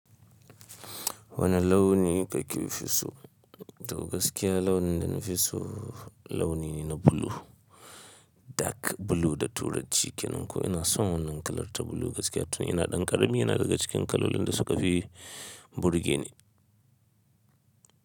Wane launi kake fi so? To gaskiya launin da na fi so launi ne na blue, dark blue da turanci ke nan. Ko ina son wannan kalarta blue gaskiya tun ina ɗan ƙarami, yana daga cikin kalolin da suka fi burge ni.